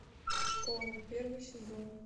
школа первый сезон